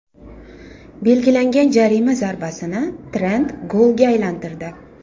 Belgilangan jarima zarbasini Trent golga aylantirdi.